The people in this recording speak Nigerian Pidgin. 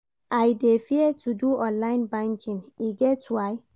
I dey fear to do online banking, e get why.